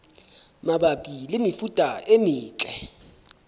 mabapi le mefuta e metle